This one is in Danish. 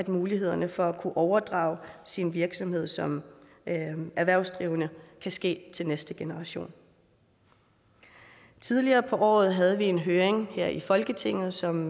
mulighederne for at kunne overdrage sin virksomhed som erhvervsdrivende kan ske til næste generation tidligere på året havde vi en høring her i folketinget som